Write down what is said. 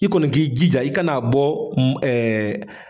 I kɔni k'i jija i kan'a bɔ